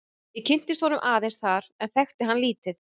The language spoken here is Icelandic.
Ég kynntist honum aðeins þar en þekkti hann lítið.